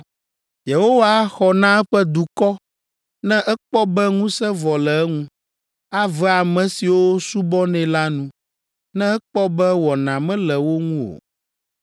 Yehowa axɔ na eƒe dukɔ, ne ekpɔ be ŋusẽ vɔ le eŋu. Ave ame siwo subɔnɛ la nu ne ekpɔ be wɔna mele wo ŋu o.